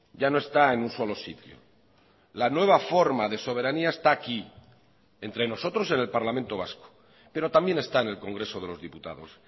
ya no está en un solo sitio la nueva forma de soberanía esta aquí entre nosotros en el parlamento vasco pero también está en el congreso de los diputados